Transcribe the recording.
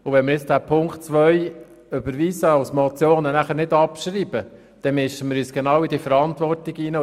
Wenn wir die Ziffer 2 als Motion überweisen und dann nicht abschreiben, mischen wir uns genau in diese Verantwortung ein.